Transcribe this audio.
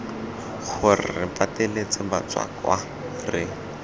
gore re pateletse batswakwa re